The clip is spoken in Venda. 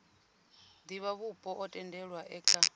divhavhupo o tendelwaho e kha